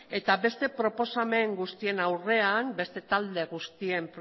eta beste proposamen guztien aurrean beste talde guztiek